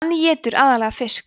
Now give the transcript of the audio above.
hann étur aðallega fiska